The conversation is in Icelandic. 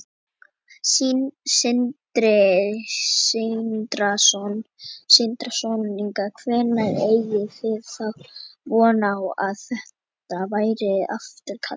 Sindri Sindrason: Hvenær eigið þið þá von á að þetta verði afturkallað?